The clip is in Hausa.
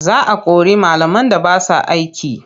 Za a kori malaman da ba sa aiki.